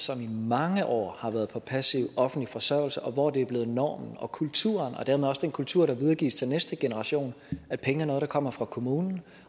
som i mange år har været på passiv offentlig forsørgelse og hvor det er blevet normen og kulturen og dermed også den kultur der videregives til næste generation at penge er noget der kommer fra kommunen